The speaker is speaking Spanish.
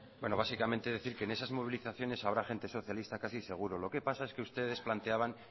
bueno básicamente decir que en esas movilizaciones habrá gente socialista casi seguro lo que pasa es que ustedes planteaban